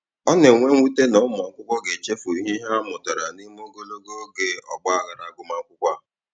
Ọ na-enwe mwute na ụmụakwụkwọ ga-echefu ihe ha mụtara n'ime ogologo oge ọgbaaghara agụmakwụkwọ a.